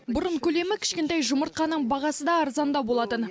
бұрын көлемі кішкентай жұмыртқаның бағасы да арзандау болатын